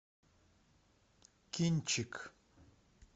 кинчик